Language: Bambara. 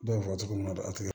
Dɔw fɔ cogo min na a ti kɛ